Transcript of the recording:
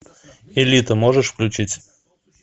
элита можешь включить